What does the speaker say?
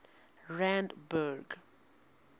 randburg